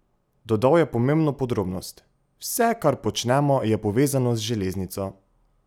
Dodal je pomembno podrobnost: "Vse, kar počnemo, je povezano z železnico".